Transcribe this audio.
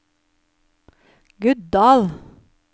Guddal